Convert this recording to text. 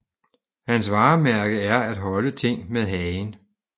Hans varmærke er at holde ting med hagen